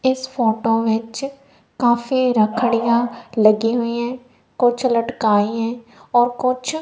इस फोटो विच काफी लकड़ियां लगी हुई है कुछ लटकाई है और कुछ--